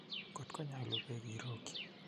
Kotko nyolu bek irokyi.